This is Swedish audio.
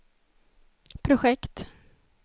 projekt